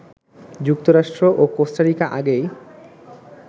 যুক্তরাষ্ট্র ও কোস্টারিকা আগেই